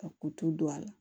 Ka kutu don a la